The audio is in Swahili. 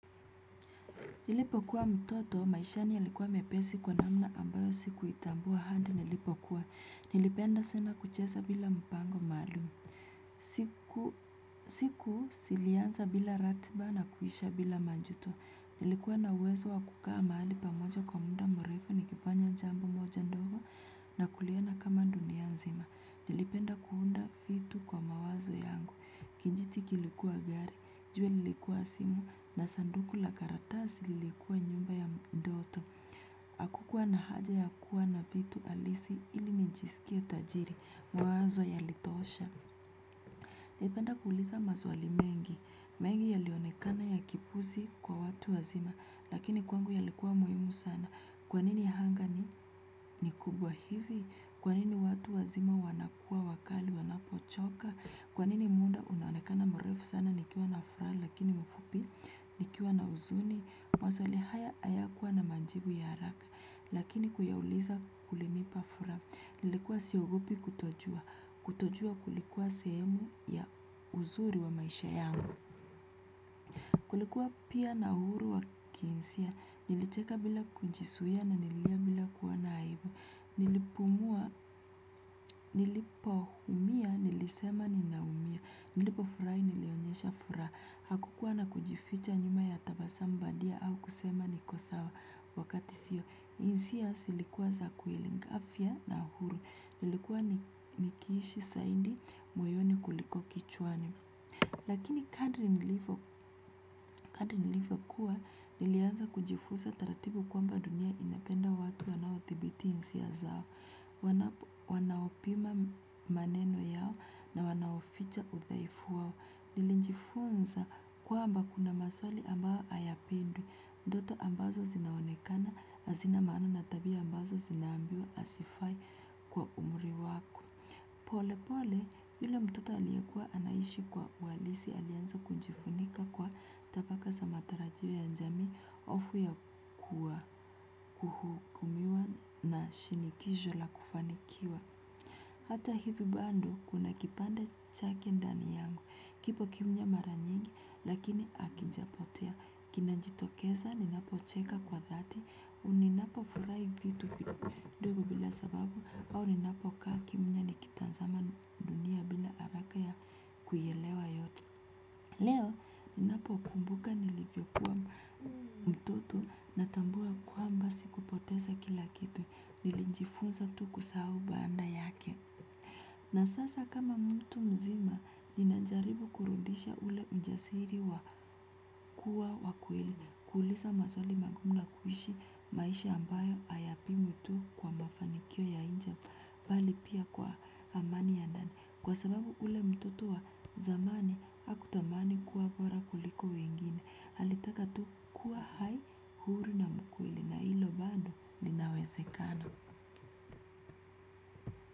Nilipo kuwa mtoto maishani ya likuwa mepesi kwa namna ambayo siku itambuwa handi nilipo kuwa. Nilipenda sena kuchesa bila mpango malumu. Siku silianza bila ratiba na kuisha bila majuto. Nilikuwa na uwezo wa kukaa mali pamoja kwa munda mrefu nikifanya jambo moja ndogo na kuliona kama dunia nzima. Nilipenda kuunda fitu kwa mawazo yangu, kinjiti kilikuwa gari, juwe nilikuwa simu na sanduku la karatasi lilikuwa nyumba ya mndoto. Hakukuwa na haja ya kuwa na vitu halisi ili nijisikie tajiri, mawazo yalitosha. Nilipenda kuuliza maswali mengi, mengi yalionekana ya kipuzi kwa watu wazima, lakini kwangu yalikuwa muhimu sana. Kwanini anga ni kubwa hivi? Kwa nini watu wazima wanakua wakali wanapochoka? Kwa nini muda unaonekana mrefu sana nikiwa na furaha lakini mfupi nikiwa na uzuni? Maswali haya hayakuwa na majibu ya haraka lakini kuyauliza kulinipa furaha. Nilikuwa siogopi kutojua. Kutojua kulikuwa sehemu ya uzuri wa maisha yangu. Kulikuwa pia na uhuru wa kinsia, nilicheka bila kujizuia na nililia bila kuwa na aibu, nilipumua. Nilipoumia, nilisema ninaumia. Nilipofurahi nilionyesha furaha, hakukua na kujificha nyuma ya tabazamu bandia ama kusema 'niko sawa' wakati sio, hisia zilikua za afya na huru nikiishi zaidi moyoni kuliko kichwani. Lakini kadri nilivyokuwa, nilianza kujifunza taratibu kwamba dunia inapenda watu wanaothibiti hisia zao, wanaopima maneno yao na wanaoficha uthaifu wao. Nilijifunza kwamba kuna maswali ambao hayapendwi, ndoto ambazo zinaonekana, hazina maana na tabia ambazo zinaambiwa hasifai kwa umuri wako. Pole pole yule mtoto aliyekuwa anaishi kwa uhalisi alianza kunjifunika kwa tabaka za matarajio ya jamii hofu ya kuhukumiwa na shinikizo la kufanikiwa. Hata hivi bando kuna kipande chake ndani yangu kipo kimya mara nyingi lakini hakijapotea kinajitokeza ninapocheka kwa dhati ninapofurahi vitu vidogo bila sababu au ninapokaa kimya nikitazama dunia bila haraka ya kuielewa yote. Leo ninapokumbuka nilivyokuwa mtoto natambua kwamba sikupoteza kila kitu nilijifunza tu kusahu baada yake. Na sasa kama mtu mzima ninajaribu kurudisha ule ujasiri wa kuuliza maswali magumu na kuishi maisha ambayo hayapimwi tu kwa mafanikio ya nje bali pia kwa amani ya ndani. Kwa sababu ule mtoto wa zamani, hakutamani kuwa bora kuliko wengine, alitaka tu kuwa hai, huru na mkweli na hilo bado linawezekana.